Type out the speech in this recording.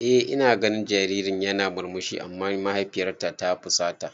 Eh ina ganin jaririn yana murmushi amma mahaifiyar ta fusata.